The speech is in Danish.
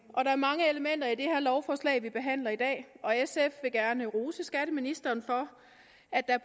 er mange elementer i det lovforslag vi behandler i dag og sf vil gerne rose skatteministeren for at der